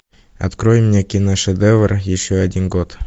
открой мне киношедевр еще один год